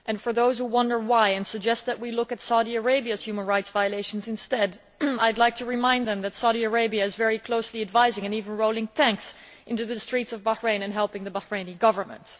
For those who wonder why and suggest that we look at Saudi Arabia's human rights violations instead, I would like to remind them that Saudi Arabia is very closely advising and even rolling tanks into the streets of Bahrain and helping the Bahraini Government.